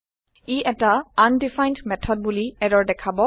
ই এটা undefined method বোলি error দেখাব